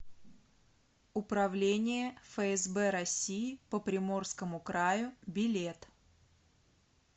управление фсб россии по приморскому краю билет